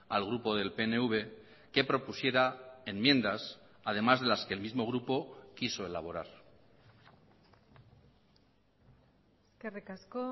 al grupo del pnv que propusiera enmiendas además de las que el mismo grupo quiso elaborar eskerrik asko